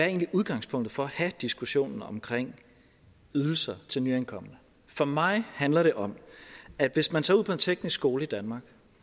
egentlig udgangspunktet for at have diskussionen om ydelser til nyankomne for mig handler det om at hvis man tager ud på en teknisk skole i danmark